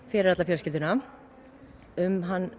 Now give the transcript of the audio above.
fyrir alla fjölskylduna um hann